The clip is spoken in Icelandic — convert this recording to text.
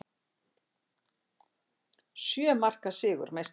Sjö marka sigur meistaranna